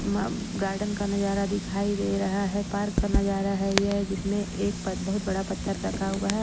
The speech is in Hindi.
म--गार्डन का नजारा दिखाई दे रहा है पार्क का नजारा है ये जिसमें एक बहुत बड़ा पत्थर रखा हुआ है।